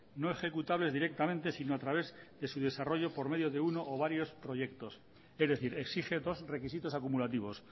no ejecutables directamente si no a través de su desarrollo por medio de uno o varios proyectos es decir exige dos requisitos acumulativos